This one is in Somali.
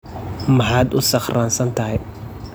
Maxaad u sakhraansan tahay?